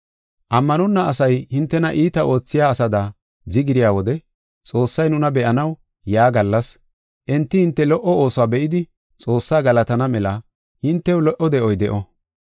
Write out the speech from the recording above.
Ammanonna asay hintena iita oothiya asada zigirya wode Xoossay nuna be7anaw yaa gallas, enti hinte lo77o oosuwa be7idi Xoossaa galatana mela hintew lo77o de7oy de7o.